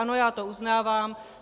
Ano, já to uznávám.